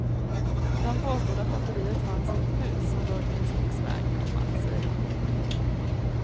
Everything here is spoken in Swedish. De påstod att batteriet fanns i ett hus som låg vid en skogsväg, komma säger han. punkt